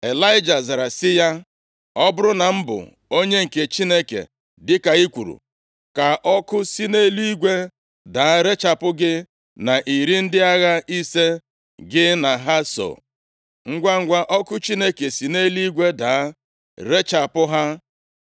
Ịlaịja zara sị ya, “Ọ bụrụ na m bụ onye nke Chineke dịka i kwuru, ka ọkụ si nʼeluigwe daa rechapụ gị na iri ndị agha ise gị na ha so.” Ngwangwa, ọkụ Chineke si nʼeluigwe daa rechapụ ha.